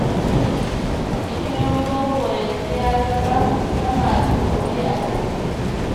Ilimin boko yanzu ya zama na masu kuɗi a Najeriya